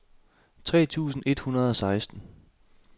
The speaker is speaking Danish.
tres tusind et hundrede og seksten